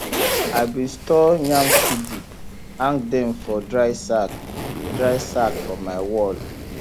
i bin store yam seedi hang dem for dry sack dry sack for my wall